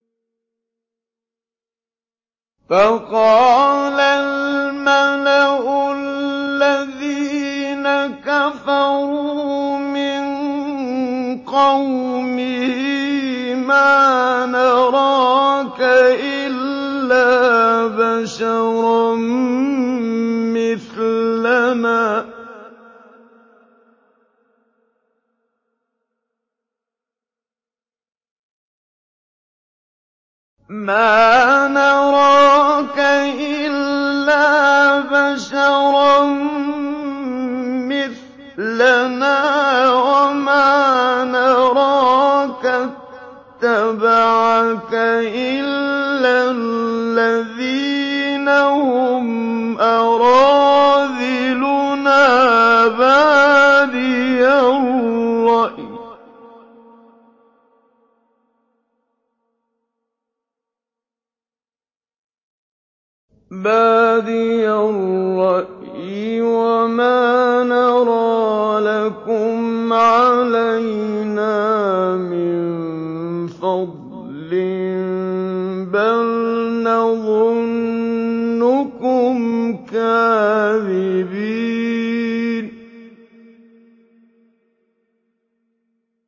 فَقَالَ الْمَلَأُ الَّذِينَ كَفَرُوا مِن قَوْمِهِ مَا نَرَاكَ إِلَّا بَشَرًا مِّثْلَنَا وَمَا نَرَاكَ اتَّبَعَكَ إِلَّا الَّذِينَ هُمْ أَرَاذِلُنَا بَادِيَ الرَّأْيِ وَمَا نَرَىٰ لَكُمْ عَلَيْنَا مِن فَضْلٍ بَلْ نَظُنُّكُمْ كَاذِبِينَ